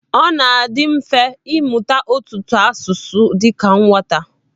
Ọ na-adị mfe ịmụta ọtụtụ asụsụ dịka nwata.